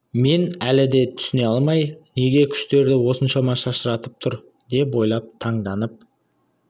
мен әлі де түсіне алмай неге күштерді осыншама шашыратып тұр деп ойлап таңданып